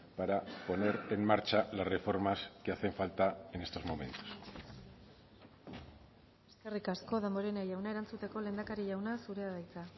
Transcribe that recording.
para poner en marcha las reformas que hacen falta en estos momentos eskerrik asko damborenea jauna erantzuteko lehendakari jauna zurea da hitza